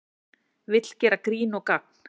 Vill gera grín og gagn